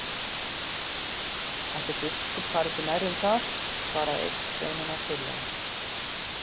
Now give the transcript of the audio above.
Ætli biskup fari ekki nærri um það, svaraði einn sveinanna þurrlega.